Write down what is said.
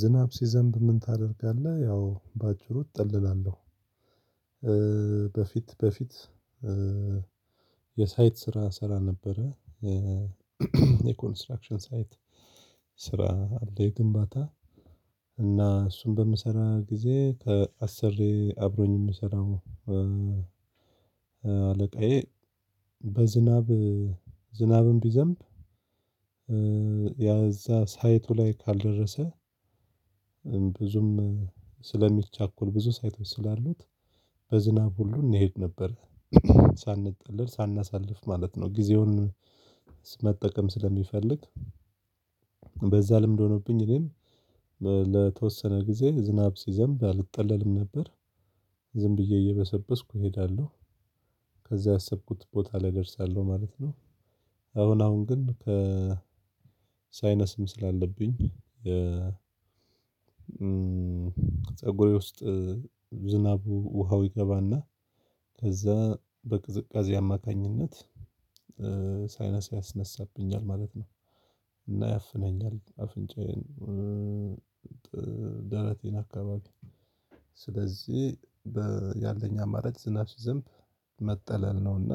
ዝናብ ሲዘንብ ምን ታደርጋለህ? ያው በአጭሩ እጠለላለሁ። በፊት በፊት የሳይት ስራ እሰራ ነበረ። የኮንስትራክሽን ሳይት ስራ አለ የግንባታ እና እሱን በምሰራ ጊዜ ከአስሬየ አብሮኝ የምሰራው። አለቃዬ በዝናብ ዝናብም ቢዘንብ ያ እዛ ሳይቱ ላይ ካልደረሰ። ብዙም ስለሚቻኩል ብዙ ሳይቶች ስላሉት በዝናብ ሁሉ እንሄድ ነበር። ሳንጠልል ሳናሳልፍ ማለት ነው። ጊዜውን መጠቀም ስለሚፈልግ። በዛ ልምድ ሆኖብኝ እኔም ለተወሰነ ጊዜ ዝናብ ሲዘንብ አልጠለልም ነበር። ዝም ብዬ እየበሰበስኩ እሄዳለሁ። ከዛ ያሰብኩት ቦታ ላይ እደርሳለሁ ማለት ነው። አሁን አሁን ግን ሳይነስም ስላለብኝ። ፀጉሬ ውስጥ ዝናቡ ውሃው ይገባና ከዛ በቅዝቃዜ አማካኝነት ሳይነሳ ያስነሳብኛል ማለት ነው። እና ያፍነኛል አፍንጫዬን ደረቴን አካባቢ። ስለዚህ ያለኝ አማራጭ ዝናብ ሲዘንብ መጠለል ነው። እና